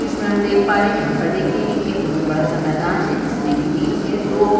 दृश्य में हम देख पा रहे हैं यहां पर देखिए ये एक बहोत बड़ा सा मैदान है जिसमें की बीच में दो --